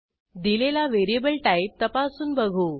दिलेला variable type तपासून बघू